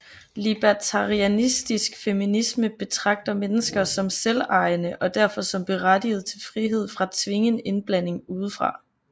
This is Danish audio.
Libertarianistisk feminisme betragter mennesker som selvejende og derfor som berettiget til frihed fra tvingen indblanding udefra